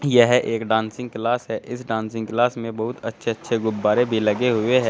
यह एक dancing class है इस डांसिंग क्लास में बहुत अच्छे अच्छे गुब्बारे भी लगे हुए हैं।